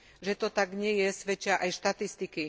Že to tak nie je, svedčia aj štatistiky.